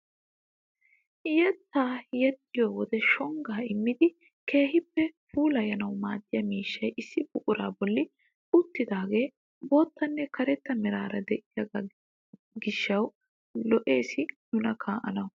Yettaa yexxiyoo wode shonggaa immidi keehi puulayanawu maaddiyaa miishshay issi buquraa bolli uttidagee boottanne karetta meraara de'iyoo gishshawu lo"ees nuna kaa"anawu!